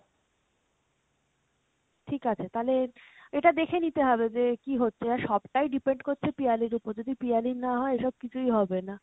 ঠিক আছে তালে এটা দেখে নিতে হবে যে কী হচ্ছে এবার সব টাই depend করছে পিয়ালির উপর যদি পিয়ালির না হয় এসব কিছুই হবেনা।